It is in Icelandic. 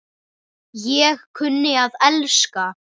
Ég kunni að elska.